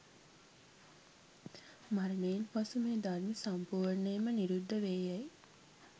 මරණයෙන් පසු මේ ධර්ම සම්පූර්ණයෙන්ම නිරුද්ධ වේ යැයි